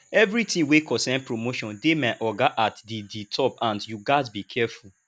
everytin wey concern promotion dey my oga at di di top hand you gats dey careful